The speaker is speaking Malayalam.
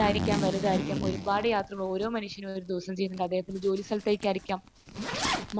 തായിരിക്കാം വലുതായിരിക്കാം. ഒരുപാട് യാത്രകൾ ഓരോ മനുഷ്യനും ഒരു ദിവസം ചെയ്യുന്നത്. അദ്ദേഹത്തിന്റെ ജോലി സ്ഥലത്തേക്കായിരിക്കാം